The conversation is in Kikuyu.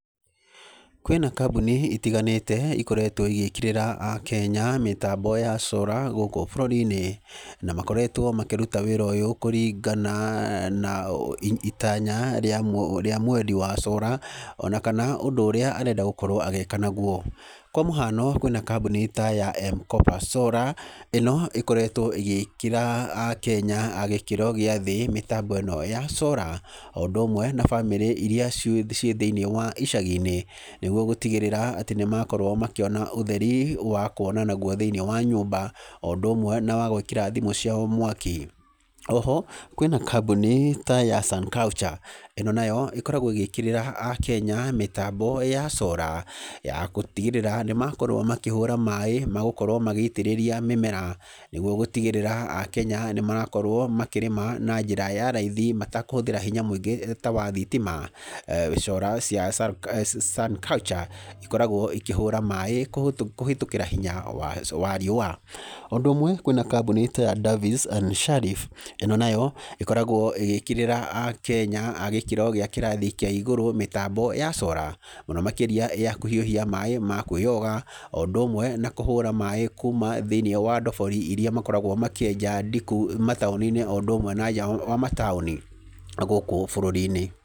Kwĩna kambuni itiganĩte ikoretwo igĩkĩrĩra akenya mĩtambo ya cora gũkũ bũrũri-inĩ, na makoretwo makĩruta wĩra ũyũ kũringana na itanya rĩa mwendi wa cora, ona kana ũndũ ũrĩa arenda gũkorwo agĩka naguo. Kwa mũhiano, kwĩ na kambuni ta ya mkopa solar, ĩno ĩkoretwo ĩgĩkĩrĩra akenya a gĩkĩro gĩa thĩ mĩtambo ĩno ya cora, oũndũ ũmwe na bamĩrĩ iria ciĩ thĩinĩ wa icagi-inĩ, nĩguo gũtigĩrĩra atĩ nĩmakorwo makĩona ũtheri wa kũona naguo thĩiniĩ wa nyũmba, oũndũ ũmwe na wagwĩkĩra thimũ cuiao mwaki. Oho, kwĩ na kambuni ta ya Sun culture. Ĩno nayo ĩkoragwo ĩgĩkĩrĩra akenya mĩtambo ya cora ya gũtigĩrĩra nĩmakorwo makĩhũra maaĩ ma gũkorwo magĩitĩrĩria mĩmera, nĩguo gũtigĩrĩra akenya nĩmarakorwo makĩrĩma na njĩra ya raithi matekũhũthĩra hinya mũingĩ ta wa thitima. Cora cia Sun culture ikoragwo ikĩhũra maaĩ kũhĩtũkĩra hinya wa riũa. O ũndũ ũmwe, kwĩ na kambuni ta ya Davies and sharif, ĩno nayo, ĩkoragwo ĩgĩkĩrĩra akenya a gĩkĩro kĩa igũrũ mĩtambo ya cora, mũno makĩria ya kũhiũhia maaĩ ma kwĩyoga, o ũndũ ũmwe na kũhũra maaĩ kuma thĩiniĩ wa ndobori irĩa makoragwo makĩenja ndiku mataũni-inĩ na nja wa mataũni gũkũ bũrũri-inĩ.